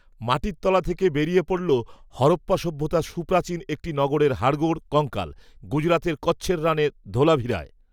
মাটির তলা থেকে বেরিয়ে পড়ল হরপ্পা সভ্যতার সুপ্রাচীন একটি নগরের হাড়গোড়, কঙ্কাল! গুজরাতে কচ্ছের রানে ধোলাভিরায়